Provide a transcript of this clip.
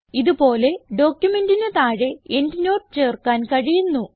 ഇത് പോലെ ഡോക്യുമെന്റിന് താഴെ എൻഡ്നോട്ട് ചേർക്കാൻ കഴിയുന്നു